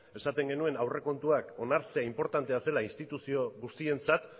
esaten genuen aurrekontuak onartzea inportante zela instituzio guztientzat